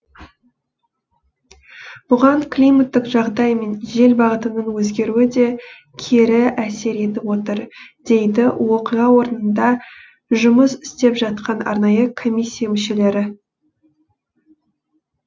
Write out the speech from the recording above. бұған климаттық жағдай мен жел бағытының өзгеруі де кері әсер етіп отыр дейді оқиға орнында жұмыс істеп жатқан арнайы комисия мүшелері